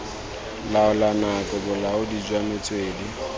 laola nako bolaodi jwa metswedi